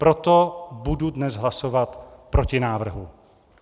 Proto budu dnes hlasovat proti návrhu.